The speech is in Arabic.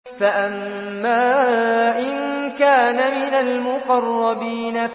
فَأَمَّا إِن كَانَ مِنَ الْمُقَرَّبِينَ